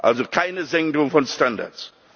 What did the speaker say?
Also keine Senkung von Standards!